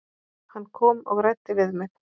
Hann kom og ræddi við mig.